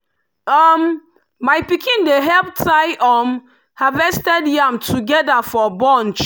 um my pikin dey help tie um harvested yam together for bunch.